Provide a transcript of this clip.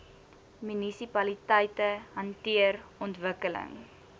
munisipaliteite hanteer ontwikkeling